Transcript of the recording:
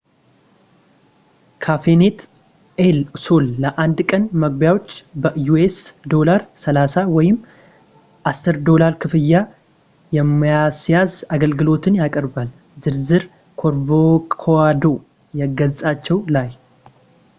ካፌኔት ኤል ሶል ለአንድ ቀን መግቢያዎች በዩኤስ$30፣ ወይም $10 ክፍያ የማስያዝ አገልግሎትን ያቀርባል፤ ዝርዝር ኮርኮቫዶ ገፃቸው ላይ